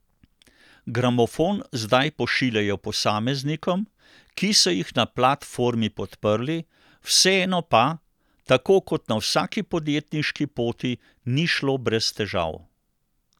Gramofon zdaj pošiljajo posameznikom, ki so jih na platformi podprli, vseeno pa, tako kot na vsaki podjetniški poti, ni šlo brez težav.